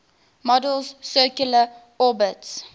model's circular orbits